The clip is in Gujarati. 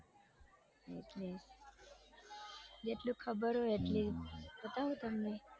એટલે જેટલું ખબર હોય એટલી બતાઉં તમને